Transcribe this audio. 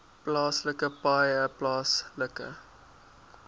plaaslike paaie plaaslike